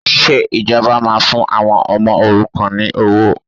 Ṣé ìjọba máa fún àwọn ọmọ òrukàn ní owó?